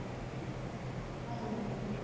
Þetta gerist um áramótin